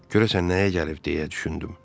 Görəsən nəyə gəlib, deyə düşündüm.